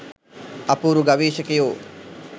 අපූරු ගවේෂකයෝ